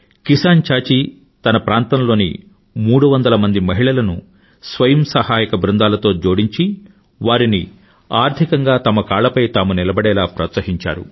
కిసాన్ చాచీ తన ప్రాంతంలోని మూడు వందల మహిళలను స్వయం సహాయక బ్రుందాలుగా జోడించి వారిని ఆర్థికంగా తమ కాళ్లపై తాము నిలబడేలా ప్రోత్సహించారు